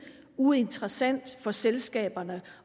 uinteressant for selskaberne